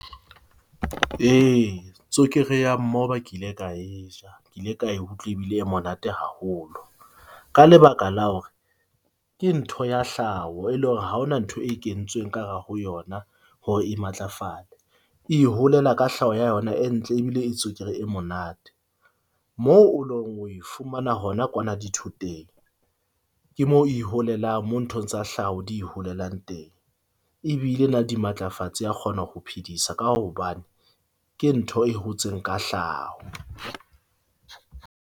E, tswekere ya mmoba kile ka e ja. Ke ile utlwa ebile e monate haholo. Ka lebaka la hore ke ntho ya hlaho e le hore ha hona ntho e kentsweng ka hare ho yona. Hore e matlafale e iholela ka hlaho ya yona, e ntle ebile e tswekere e monate moo o long o ifumana hona kwana dithoteng. Ke mo e iholelang mo nthong tsa hlaho di holelang teng ebile e na le dimatlafatsi ya kgona ho phedisa ka hobane ke ntho e hotseng ka hlaho.